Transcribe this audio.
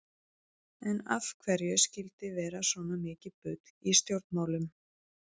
En af hverju skyldi vera svona mikið bull í stjórnmálum?